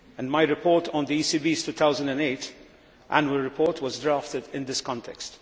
My report on the ECB's 2008 annual report was drafted in this context.